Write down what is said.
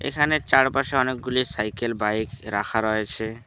এখানে চারপাশে অনেকগুলি সাইকেল বাইক রাখা রয়েছে।